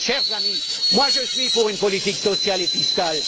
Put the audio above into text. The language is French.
Chers amis, je suis pour une politique sociale et fiscale.